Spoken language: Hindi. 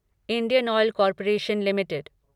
Indian oil corporation limited